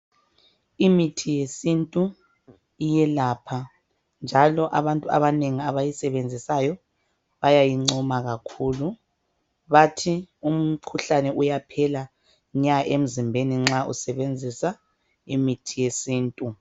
Imithi yesintu iyelapha njalo abantu abanengi abayisebenzisayo bayayincoma kakhulu, bathi umkhuhlane uyaphela nya emzimbeni nxa usebenzisa imithi yesintu.